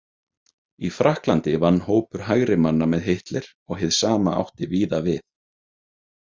Í Frakklandi vann hópur hægrimanna með Hitler og hið sama átti víða við.